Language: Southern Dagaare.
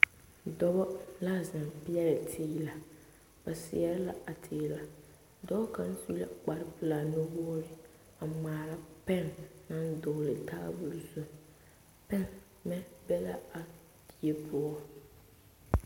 Dɔba la zeŋ peɛle. teela ba seɛre la a teela dɔɔ kaŋa su la kpare pelaa nu wogi a ŋmaara pɛn naŋ dɔgeli tabol zu pɛmɛ be la a die poɔ